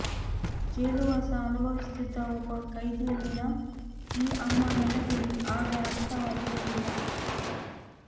ಜೈಲು ವಾಸ ಅನುಭವಿಸುತ್ತಿದ್ದ ಒಬ್ಬ ಖೈದಿಯಲ್ಲಿನ ಈ ಅಮ್ಮ ನನಗೆ ಆಗ ಅರ್ಥ ಆಗಿರಲಿಲ್ಲ